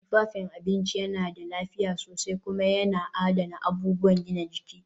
Tufafin abinci yana da lafiya sosai kuma yana adana abubuwan gina jiki